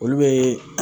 Olu bɛ